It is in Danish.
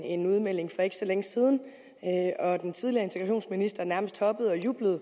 en udmelding for ikke så længe siden og den tidligere integrationsminister nærmest hoppede og jublede